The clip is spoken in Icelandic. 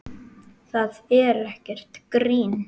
Það er ekkert grín.